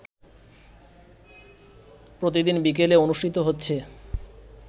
প্রতিদিন বিকেলে অনুষ্ঠিত হচ্ছে